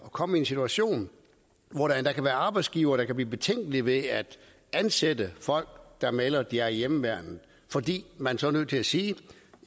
kommer en situation hvor der kan være arbejdsgivere der kan blive betænkelige ved at ansætte folk der melder at de er i hjemmeværnet fordi man så er nødt til at sige